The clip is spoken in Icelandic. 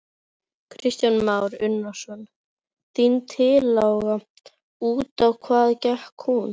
Kristján Már Unnarsson: Þín tillaga, út á hvað gekk hún?